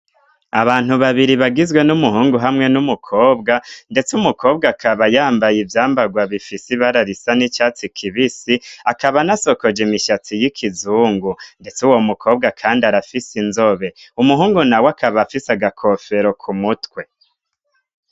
Abantu babiri bagizwe n'umuhungu hamwe n'umukobwa, ndetse umukobwa akaba yambaye ivyambarwa bifisi ibararisa n'icatsi kibisi akaba nasokoje imishatsi y'ikizungu, ndetse uwo mukobwa, kandi arafise inzobe umuhungu na we akaba afise agakofero ku mutwe.